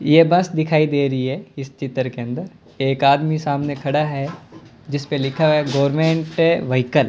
ये बस दिखाई दे रही है इस चित्र के अंदर एक आदमी सामने खड़ा है जिसपे लिखा हुआ है गवर्नमेंट व्हीकल --